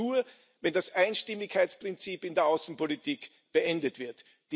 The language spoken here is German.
Das geht nur, wenn das Einstimmigkeitsprinzip in der Außenpolitik beendet wird.